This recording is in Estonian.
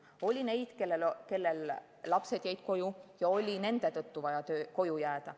Oli neid, kellel lapsed jäid koju ja nende pärast oli vaja koju jääda.